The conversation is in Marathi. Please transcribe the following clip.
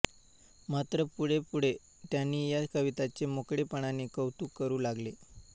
मात्र पुढेपुढे त्यांनी या कवितांचे मोकळेपणाने कौतुक करू लागले